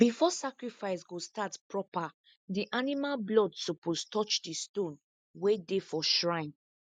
before sacrifice go start proper the animal blood suppose touch the stone wey dey for shrine